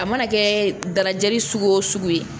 A mana kɛ dalajɛli sugu o sugu ye